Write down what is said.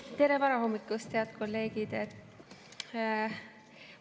Tere varahommikust, head kolleegid!